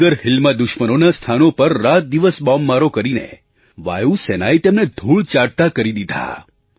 tiger હિલમાં દુશ્મનોનાં સ્થાનો પર રાતદિવસ બૉમ્બમારો કરીને વાયુ સેનાએ તેમને ધૂળ ચાટતા કરી દીધા